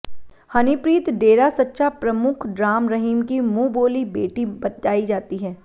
हनीप्रीत डेरा सच्चा प्रमुख राम रहीम की मुंहबोवी बेटी बताई जाती है